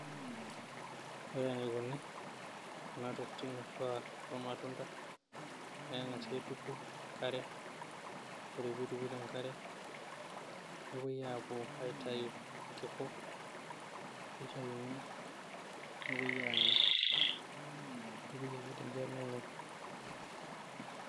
Ore enikoni Kuna tokitin ashu aa kulo matunda, naa keng'asi aitu te nk'are ore pee etukui te nk'are nepoi aitoyu irkiku, neitayuni nepoi aanya keitukui ake ninche nenyai.